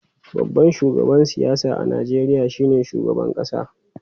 Babban shugaban siyasa a Najeriya shine shugaban kasa.